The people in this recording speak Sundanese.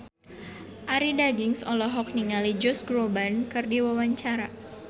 Arie Daginks olohok ningali Josh Groban keur diwawancara